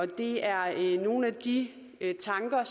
det er nogle af de tanker